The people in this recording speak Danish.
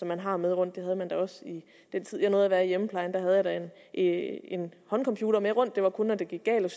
man har med rundt det havde man da også i den tid jeg nåede at være i hjemmeplejen der havde jeg da en håndcomputer med rundt og det var kun når det gik galt og